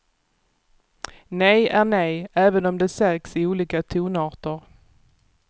Nej är nej, även om det sägs i olika tonarter.